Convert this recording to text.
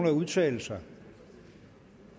at udtale sig